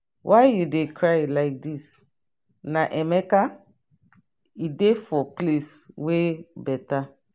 why you dey cry like dis na emeka? e dey for place where better.